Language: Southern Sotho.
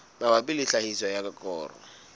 mabapi le tlhahiso ya koro